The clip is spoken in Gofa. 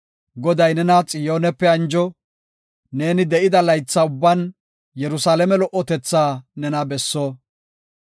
Goday nena Xiyoonepe anjo! Neeni de7ida laytha ubban Yerusalaame lo77otetha nena besso!